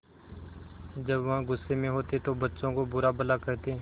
जब वह गुस्से में होते तो बच्चों को बुरा भला कहते